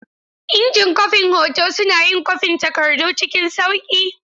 Injin kwafin hoto suna yin kwafin takardu cikin sauƙi.